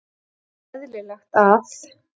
Ekki eðlilegt að-